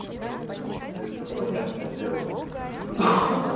пускай это понятное дело